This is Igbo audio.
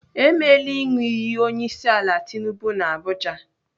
Emela ịṅụ iyi onyeisiala Tinubu n'Abuja.